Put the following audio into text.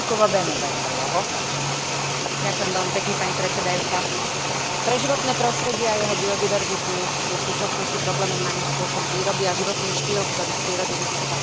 Pre životné prostredie a jeho biodiverzitu je v súčasnosti problémom najmä spôsob výroby a životný štýl, ktorý v prírode vidí iba tovar a prostriedok uspokojovania ľudských potrieb.